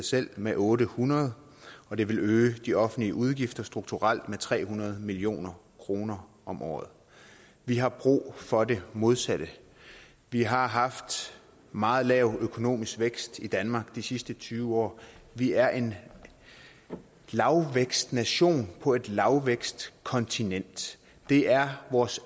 selv med otte hundrede og det vil øge de offentlige udgifter strukturelt med tre hundrede million kroner om året vi har brug for det modsatte vi har haft meget lav økonomisk vækst i danmark de sidste tyve år vi er en lavvækstnation på et lavvækstkontinent det er vores